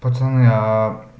пацаны аа